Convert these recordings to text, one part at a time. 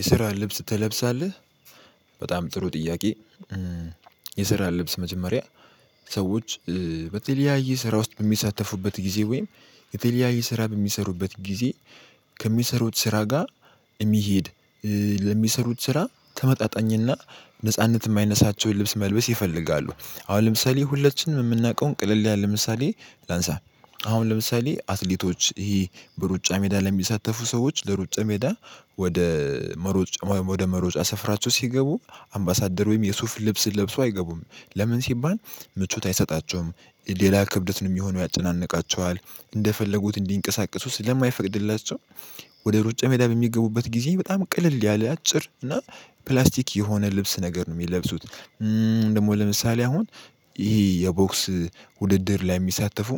የስራ ልብስ ትለብሳለህ በጣም ጥሩ ጥያቄ የስራ ልብስ መጀመሪያ ሰዎች በተለያየ ስራ ውስጥ በሚሳተፉበት ጊዜ ወይም የተለያየ ስራ በሚሰሩበት ጊዜ ከሚሰሩት ስራ ጋር የሚሄድ ለሚሰሩት ስራ ተመጣጣኝና ነጻነት የማይነሳቸውን ልብስ መልበስ ይፈልጋሉ አሁን ለምሳሌ ሁላችንም የምናውቀውን ቅልል ለምሳሌ ላንሳ አሁን ለምሳሌ አትሌቶች ይሄ በሩጫ ሜዳ ለሚሳተፉ ሰዎች ለሩጫ ሜዳ ወደ መሮጫ ሰፍራቸው ሲገቡ አምባሳደር ወይም የሱፍ ልብስ ለብሰው አይገቡም ለምን ሲባል ምቾት አይሰጣቸውም ሌላ ክብደት ነው የሚሆነው ያጨናንቃቸዋል እንደፈለጉት እንዲንቀሳቀሱ ስለማይፈቅድላቸው ወደ ሩጫ ሜዳ በሚገቡበት ጊዜ በጣም ቅልል ያለ አጭር እና ፕላስቲክ የሆነ ልብስ ነገር ነው የሚለብሱት ደግሞ ለምሳሌ አሁን ይሄ የቦክስ ውድድር ላይ የሚሳተፉ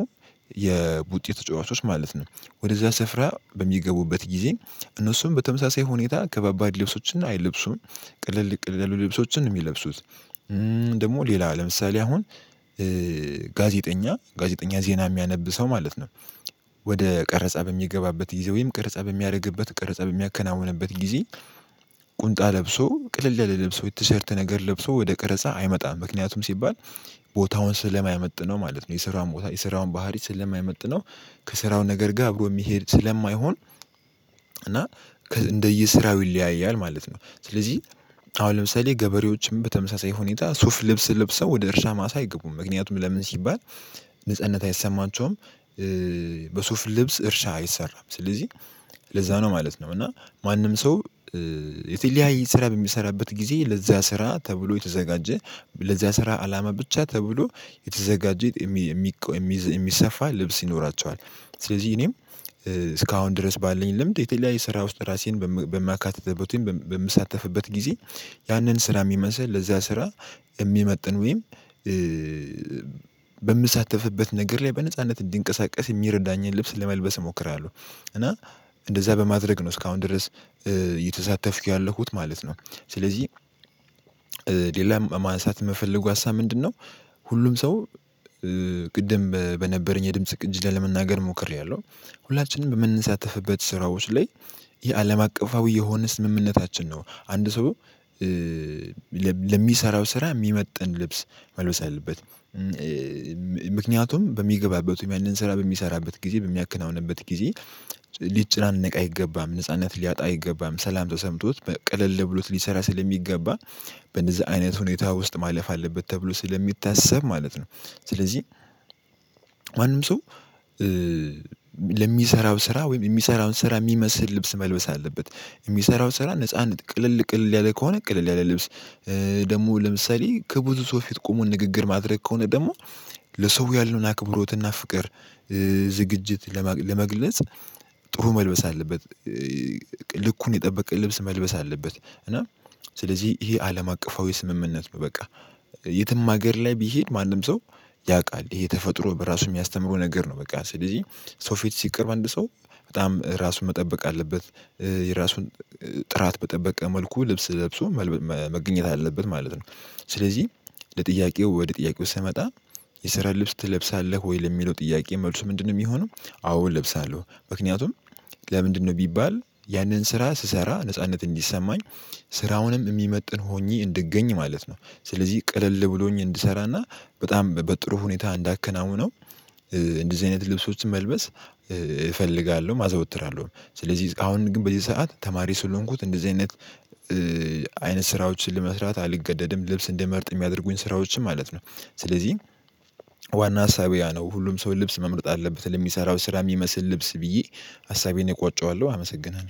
የቡጢ ተጫዋቾች ማለት ነው ወደዛ ስፍራ በሚገቡበት ጊዜ እነሱም በተመሳሳይ ሁኔታ ከባባድ ልብሶችን አይለብሱም ቅልል ቅልል ልብሶችን የሚለብሱት ደግሞ ሌላ ለምሳሌ አሁን ጋዜጠኛ ጋዜጠኛ ዜና የሚያነብ ሰው ማለት ነው ወደ ቀረጻ በሚገባበት ጊዜ ወይም ቀረጻ በሚያደርግበት ቀረጻ በሚያከናውንበት ጊዜ ለብሶ ቅልል ያለ ለብሶ የቲሸርት ነገር ለብሶ ወደ ቀረጻ አይመጣም ምክንያቱም ሲባል ቦታውን ስለማያመጥነው ማለት ነው የስራውን ቦታ የስራውን ባህሪ ስለማይመጥነው ከስራው ነገር ጋራ አብሮ የሚሄድ ስለማይሆን እና እንደየስራው ይለያያል ማለት ነው ስለዚህ አሁን ለምሳሌ ገበሬዎችም በተመሳሳይ ሁኔታ ሱፍ ልብስ ለብሰው ወደ እርሻ ማሳ አይገቡም ምክንያቱም ለምን ሲባል ንጽህና አይሰማቸውም በሱፍ ልብስ እርሻ አይሰራም ስለዚህ ለዛ ነው ማለት ነው እና ማንም ሰው የተለያየ ስራ በሚሰራበት ጊዜ ለዛ ስራ ተብሎ የተዘጋጀ ለዛ ስራ አላማ ብቻ ተብሎ የተዘጋጀ የሚቆ የሚሰፋ ልብስ ይኖራቸዋል ስለዚህ እኔም እስካሁን ድረስ ባለኝ ለምድ የተለያየ ስራ ውስጥ ራሴን በማካተተበትም በምሳተፍበት ጊዜ ያንን ስራ የሚመስል ለዛ ስራ የሚመጥን ወይም በምሳተፍበት ነገር ላይ በነጻነት እንዲንቀሳቀስ የሚረዳኝን ልብስ ለመልበስ እሞክራለሁ እና እንደዛ በማድረግ ነው እስካሁን ድረስ እየተሳተፍኩ ያለሁት ማለት ነው ስለዚህ ሌላ ማንሳት የምፈልገው ሀሳብ ምንድነው ሁሉም ሰው ቅድም በነበረኝ የድምጽ ቅጅ ላለመናገር ሞክሬያለሁ ሁላችንም በምንሳተፍበት ስራዎች ላይ የአለም አቀፋዊ የሆነስ ስምምነታችን ነው አንድ ሰው ለሚሰራው ስራ የሚመጥን ልብስ መልበስ አለበት ምክንያቱም በሚገባበት ወይም ያንን ስራ በሚሰራበት ጊዜ በሚያከናውንበት ጊዜ ሊጨናነቅ አይገባም ነጻነት ሊያጣ አይገባም ሰላም ተሰምቶት በቅልል ብሎት ሊሰራ ስለሚገባ በነዛ አይነት ሁኔታ ውስጥ ማለፍ አለበት ተብሎ ስለሚታሰብ ማለት ነው ስለዚህ ማንም ሰው ለሚሰራው ስራ ወይም የሚሰራውን ስራ የሚመስል ልብስ መልበስ አለበት የሚሰራውን ስራ ነጻነት ቅልል ቅልል ያለ ከሆነ ቅልል ያለ ልብስ ደግሞ ለምሳሌ ከብዙ ሰው ፊት ቆሞ ንግግር ማድረግ ከሆነ ደግሞ ለሰው ያለውን አክብሮትና ፍቅር ዝግጅት ለመግለጽ ጥሩ መልበስ አለበት ልኩን የጠበቀ ልብስ መልበስ አለበት እና ስለዚህ ይሄ አለም አቀፋዊ ስምምነት ነው በቃ የትም ሀገር ላይ ቢሄድ ማንም ሰው ያውቃል ይሄ ተፈጥሮ በራሱ የሚያስተምረው ነገር ነው በቃ ስለዚህ ሰው ፊት ሲቀርብ አንድ ሰው በጣም ራሱን መጠበቅ አለበት የራሱን ጥራት በጠበቀ መልኩ ልብስ ለብሶ መገኘት አለበት ማለት ነው ስለዚህ ለጥያቄው ወደ ጥያቄው ስመጣ የስራ ልብስ ትለብሳለህ ወይ ለሚለው ጥያቄ መልሱ ምንድነው የሚሆነው አዎ እለብሳለሁ ምክንያቱም ለምንድነው ቢባል ያንን ስራ ስሰራ ነጻነት እንዲሰማኝ ስራውንም የሚመጥን ሆኜ እንድገኝ ማለት ነው ስለዚህ ቀለል ብሎኝ እንድሰራና በጣም በጥሩ ሁኔታ እንዳከናወነው እንደዚህ አይነት ልብሶችን መልበስ እፈልጋለሁ አዘወትራለሁ ስለዚህ አሁን ግን በዚ ሰዓት ተማሪ ስለሆንኩት እንደዚህ አይነት አይነት ስራዎችን ለመስራት አልገደድም ልብስ እንድመርጥ የሚያደርጉኝ ስራዎችን ማለት ነው ስለዚህ ዋና ሀሳብያ ሁሉም ሰው ልብስ መምረጥ አለበት ለሚሰራው ስራ የሚመስል ልብስ ብዬ ሀሳቤን እቋጨዋለሁ አመሰግናለሁ።